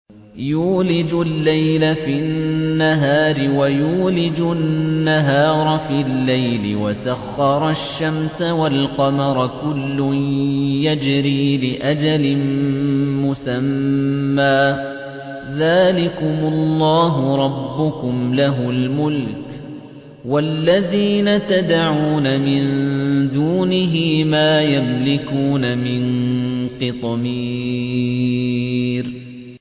يُولِجُ اللَّيْلَ فِي النَّهَارِ وَيُولِجُ النَّهَارَ فِي اللَّيْلِ وَسَخَّرَ الشَّمْسَ وَالْقَمَرَ كُلٌّ يَجْرِي لِأَجَلٍ مُّسَمًّى ۚ ذَٰلِكُمُ اللَّهُ رَبُّكُمْ لَهُ الْمُلْكُ ۚ وَالَّذِينَ تَدْعُونَ مِن دُونِهِ مَا يَمْلِكُونَ مِن قِطْمِيرٍ